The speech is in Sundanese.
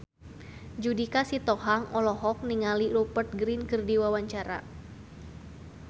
Judika Sitohang olohok ningali Rupert Grin keur diwawancara